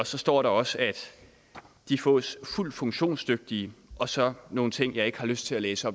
så står der også at de fås fuldt funktionsdygtige og så nogle ting jeg ikke har lyst til at læse